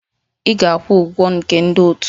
Ị ga-akwụ ụgwọ nke ndị otu!